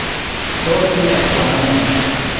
toos ne konyonyeet?